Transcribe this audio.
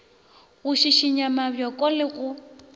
go šišinya mabjoko le go